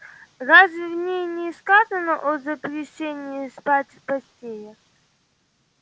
разве в ней не сказано о запрещении спать в постелях